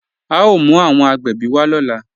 A o mú awọn agbẹ́bí wa lọ́lá.